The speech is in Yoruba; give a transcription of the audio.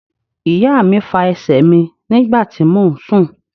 Ìyá mi fa ẹsẹ̀ mi nígbà tí mò ún sùn